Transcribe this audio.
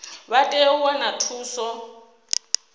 vha tea u wana thuso